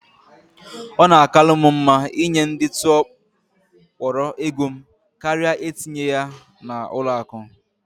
Ọ na akalu m mma ị nye ndị tụọ kpọrọ égo m karịa etinye ya na ụlọ akụ